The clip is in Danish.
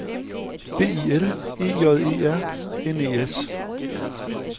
B I L E J E R N E S